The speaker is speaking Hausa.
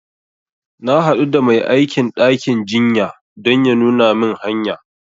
Na haɗu da mai aikin ɗakin jinya don ya nuna min hanya